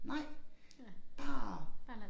Nej bare